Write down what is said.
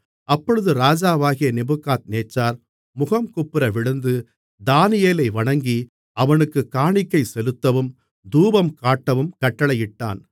அப்பொழுது ராஜாவாகிய நேபுகாத்நேச்சார் முகங்குப்புற விழுந்து தானியேலை வணங்கி அவனுக்குக் காணிக்கைசெலுத்தவும் தூபங்காட்டவும் கட்டளையிட்டான்